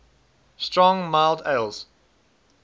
strong mild ales